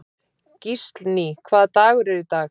Gíslný, hvaða dagur er í dag?